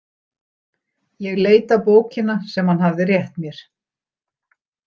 Ég leit á bókina sem hann hafði rétt mér.